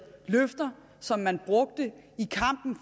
løfter som man brugte i kampen